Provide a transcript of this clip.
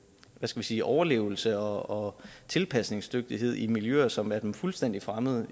sige overlevelse og tilpasningsdygtighed i miljøer som er dem fuldstændig fremmede